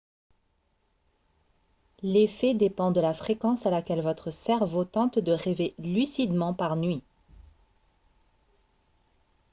l'effet dépend de la fréquence à laquelle votre cerveau tente de rêver lucidement par nuit